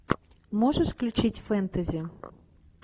можешь включить фэнтези